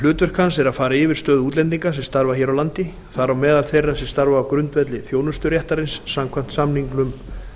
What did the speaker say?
hlutverk hans er að fara yfir stöðu útlendinga sem starfa hér á landi þar á meðal þeirra sem starfa á grundvelli þjónusturéttarins samkvæmt samningnum